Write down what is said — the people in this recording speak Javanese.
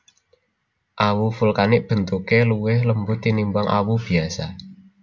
Awu vulkanik bentuke luwih lembut tinimbang awu biasa